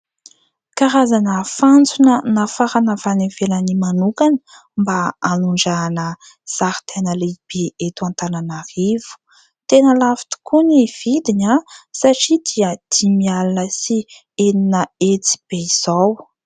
Karazana fantsona, nafarana avy any ivelany manokana ; mba hanondrahana zaridaina lehibe eto Antananarivo. Tena lafo tokoa ny vidiny ; satria dia dimy alina sy enina hetsy be izao.